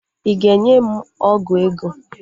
Ị ga-enye m ọgụ ego?